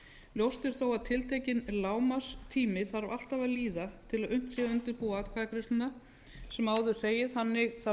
ljóst er þó að tiltekinn lágmarkstími þarf alltaf að líða til að unnt sé að undirbúa atkvæðagreiðsluna sem áður segir þannig þarf tiltekinn